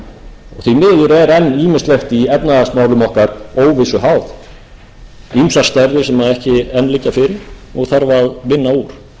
er enn ýmislegt enn í efnahagsmálum okkar óvissu háð ýmsar stærðir sem ekki enn liggja fyrir og þarf að vinna úr